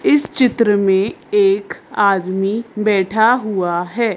इस चित्र में एक आदमी बैठा हुआ है।